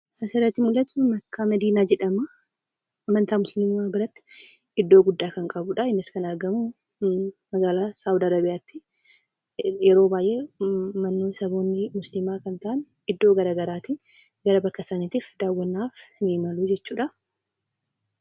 Kan asirratti mul'atu komodiina jedhama. Amantaa musliimaa biratti iddoo guddaa kan qabudha. Innis kan argamu magaalaa Saawud Arabiyaatti. Yeroo baay'ee manneen saboonni musliimaa ta'an iddoo garaagaraatti gara bakka sanaatti daawwannaaf ni imalu.